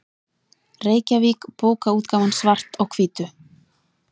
Reykjavík: Bókaútgáfan Svart á hvítu.